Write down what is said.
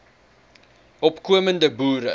opko mende boere